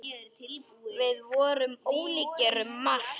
Við vorum ólíkir um margt.